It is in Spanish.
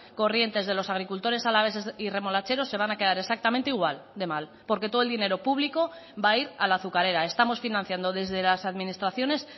corrientes de los agricultores alaveses y remolacheros se van a quedar exactamente igual de mal porque todo el dinero público va a ir a la azucarera estamos financiando desde las administraciones